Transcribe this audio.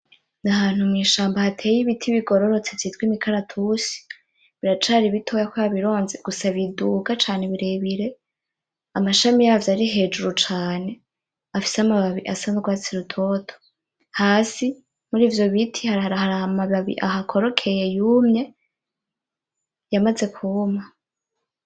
Nahantu mwishamba hateye ibiti bigororotse vyitwa imikaratusi, biracari bitoya kubera bironze gusa biduga cane birebire amashami yavyo arihejuru cane afise amababi asa nurwatsi rutoto. Hasi murivyo biti haramababi ahakorokeye yumye yamazu kwuma.